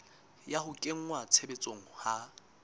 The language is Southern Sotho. ya ho kenngwa tshebetsong ha